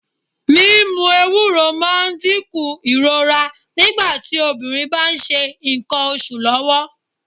Mímú Ewúro máa ń dínkù ìrora nígbà tí obìnrin bá ń ṣe ńkan oṣù lọ́wọ́.